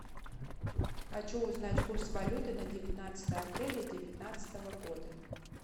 хочу узнать курс валюты на девятнадцатое апреля девятнадцатого года